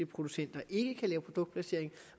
producenter ikke kan lave produktplacering